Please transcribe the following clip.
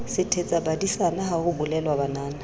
sethetsabadisana ha ho bolelwa banana